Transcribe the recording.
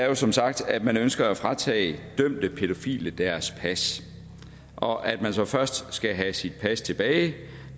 er som sagt at man ønsker at fratage dømte pædofile deres pas og at den pædofile så først skal have sit pas tilbage